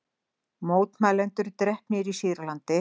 Mótmælendur drepnir í Sýrlandi